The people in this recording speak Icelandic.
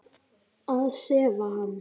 Að sefa hann.